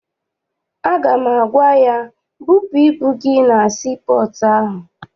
Aga m agwa ya, bupụ ibu gị na sii pọọtụ ahụ!